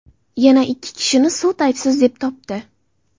Yana ikki kishini sud aybsiz deb topdi.